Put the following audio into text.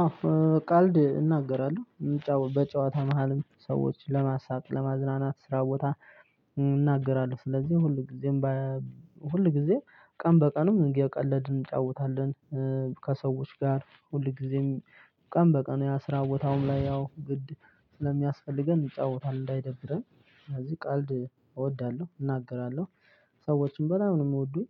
አዎ ቀልድ እናገራለሁ በጨዋታ መሃልም ሰዎች ለማሳቅ ለማዝናናት ስራ ቦታ እናገራለሁ። ስለዚህ ሁል ጊዜም ሁልጊዜ ቀን በቀንም እየቀለድን እንጫወታለን። ከሰዎች ጋር ሁል ጊዜም ቀን በቀን ያ ስራ ቦታውም ላይ ያው ግድ ስለሚያስፈልገን እንጫወታለን እንዳይደብረን። ስለዚህ ቀልድ እወዳለሁ እናገራለሁ። ሰዎችን በጣም ነው የሚወዱኝ።